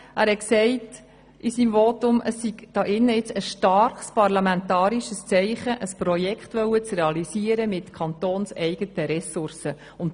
Er sagte, es werde ein starkes parlamentarisches Zeichen bezüglich der Realisierung eines Projekts mit kantonseigenen Ressourcen gesetzt.